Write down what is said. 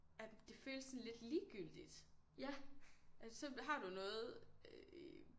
At det føles sådan lidt ligegyldigt at så har du noget øh